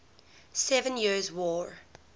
seven years war